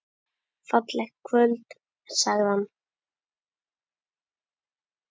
Fallegt kvöld sagði hann.